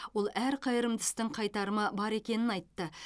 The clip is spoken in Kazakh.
ол әр қайырымды істің қайтарымы бар екенін айтты